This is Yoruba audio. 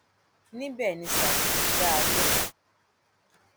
níbẹ ni sáfù ti dá a lóhùn